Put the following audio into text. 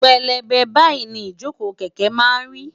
pélébé báyìí ni ìjókòó kẹ̀kẹ́ máa ń rí